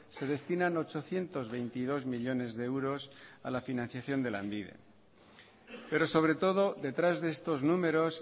se destinan ochocientos veintidós millónes de euros a la financiación de lanbide pero sobre todo detrás de estos números